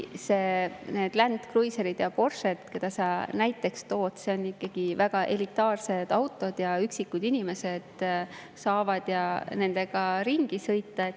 Need Land Cruiserid ja Porsched, mida sa näiteks tood, on ikkagi väga elitaarsed autod, üksikud inimesed saavad nendega ringi sõita.